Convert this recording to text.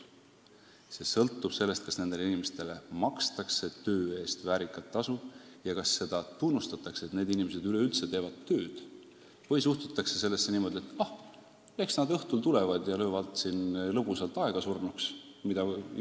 See omakorda sõltub sellest, kas nendele inimestele makstakse töö eest väärikat tasu ja kas nende tööd üleüldse tunnustatakse või suhtutakse asjasse niimoodi, et ah, eks nad käivad õhtuti lõbusalt aega surnuks löömas.